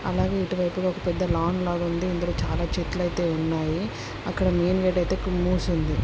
అలాగే ఇటు వైపు చాలా లాంగ్ లాగా ఉంది. ఇక్కడ చాలా చెట్లు అయితే ఉన్నాయి. అక్కడ మెయిన్ గేట్ అయితే మూసి ఉంది.